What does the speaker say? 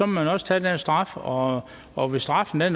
man også tage den straf og og hvis straffen er